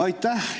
Aitäh!